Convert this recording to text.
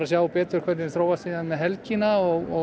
sjá betur hvernig þróast með helgina og